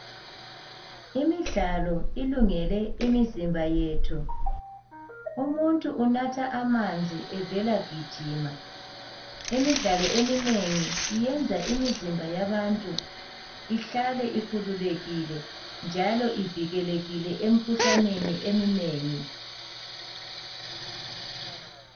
Imidlalo ilungele imizimba yethu. Umuntu unatha amanzi evela gijima. Imidlalo eminengi iyenza imizimba yabantu ihlale ikhululekile njalo ivikelekile emkhuhlaneni eminengi.